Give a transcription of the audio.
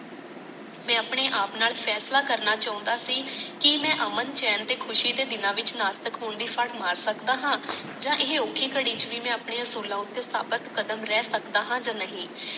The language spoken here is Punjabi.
ਮੈ ਆਪਣੇ ਆਪ ਨਾਲ ਫੈਸਲਾ ਕਰਨਾ ਚੜਾ ਸੀ ਕੀ ਮੈ ਅਮਨ ਚੈਨ ਤੇ ਖੁਸੀ ਦੇ ਦੇਣਾ ਵਿੱਚ ਵਿਚ ਨਾਸਤਕ ਹੋਣ ਫੱਟ ਮਾਰ ਸਕਦਾ ਹਾਂ ਯ ਇਹ ਔਖੀ ਖਾਡੀ ਤੇ ਵਿਚ ਬੀ ਮੈ ਆਪਣੇ ਅਸੂਲਾਂ ਤੇ ਸਾਬਤ ਕਦਮ ਰਿਹਾ ਸਕਦਾ ਹਾਂ ਯ ਨਹੀਂ